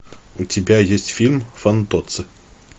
у тебя есть фильм фантоцци